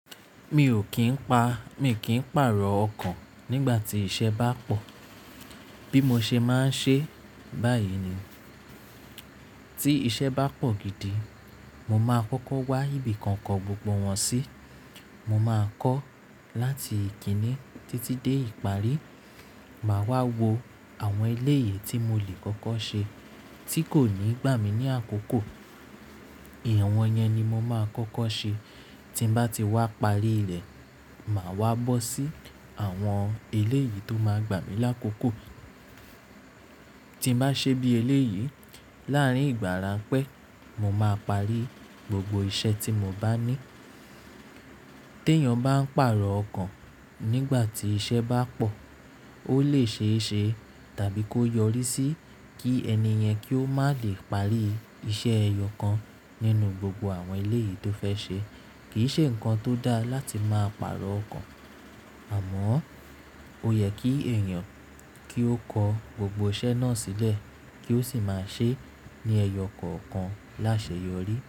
Mi ò kín pa, mi kì í pàrọ̀ ọkàn nígbà tí iṣẹ́ bá pọ̀. Bí mo ṣe máa ń ṣe báyìí ni, tí iṣẹ́ bá pọ̀ gidi, mo máa kọ́kọ́ wá ibì kan kọ gbogbo wọn sí. Mo máa kọ́ láti ìkíní títí dé ìparí. Màá wá wo àwọn eléyìí tí mo le kọ́kọ́ ṣe tí kò ní gbà mí ní àkókò. Awọ̀n yẹn ni mo máa kọ́kọ́ ṣe. Tí mo bá ti wá parí rẹ̀, màá wá bọ́ sí àwọn eléyìí tó máa gbà mí lákòókò. Tí mo bá ṣe bí eléyìí láàrín ìgbà ranpẹ́, mo máa parí gbogbo iṣẹ́ tí mo bá ní. Tí èèyàn bá ń pàrọ̀ ọkàn nígbà tí iṣẹ́ bá pọ̀, ó lè ṣe é ṣe tàbí kó yọrí sí kí ẹni yẹn kí ó má lè parí iṣẹ́ ẹyọ kan nínú gbogbo àwọn eléyìí tó fẹ́ ṣe. Kì í ṣe nǹkan tó dá láti máa pàrọ̀ ọkàn, àmọ́ ó yẹ kí èèyàn kí ó kọ gbogbo iṣẹ́ náà sílẹ̀ kí ó sì máa ṣe é ní ẹyọ kọ̀ọ̀kan láṣẹ yọrí.